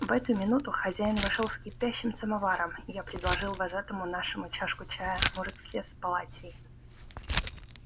в эту минуту хозяин вошёл с кипящим самоваром я предложил вожатому нашему чашку чаю мужик слез с полатей